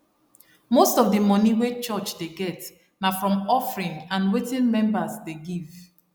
most of d moni wey church dey get na from offering and wetin members dey give